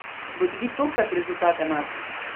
Bo tudi tokrat rezultat enak?